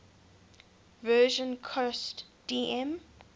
version cost dm